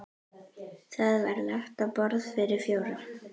Þá var lagt á borð fyrir fjóra.